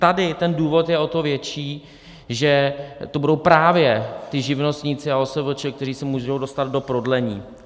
Tady ten důvod je o to větší, že to budou právě ti živnostníci a OSVČ, kteří se můžou dostat do prodlení.